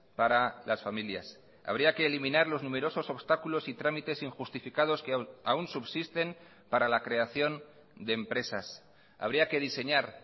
para las familias habría que eliminar los numerosos obstáculos y trámites injustificados que aún subsisten para la creación de empresas habría que diseñar